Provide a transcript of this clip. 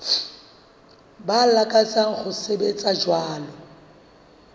ba lakatsang ho sebetsa jwalo